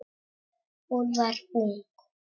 Hún var ung.